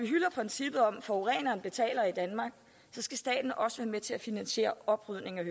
hylder princippet om at forureneren betaler så skal staten også være med til at finansiere oprydningen